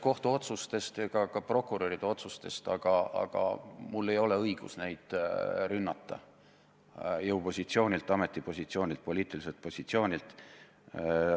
... kohtuotsustest ega ka prokuröride otsustest, aga mul ei ole õigust neid rünnata jõupositsioonilt, ametipositsioonilt, poliitiliselt positsioonilt.